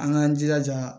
An k'an jilaja